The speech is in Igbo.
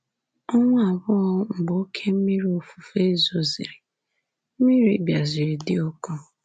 Ọnwa abụọ mgbe oke mmiri ofufe zosịrị, mmiri bịaziri di ụkọ.